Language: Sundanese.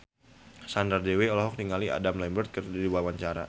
Sandra Dewi olohok ningali Adam Lambert keur diwawancara